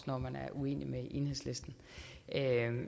når man er uenig med enhedslisten